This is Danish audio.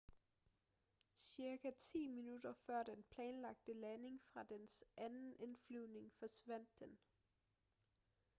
cirka ti minutter før den planlagte landing fra dens anden indflyvning forsvandt den